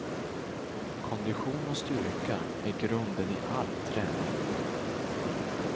Kondition och styrka är grunden i all träning.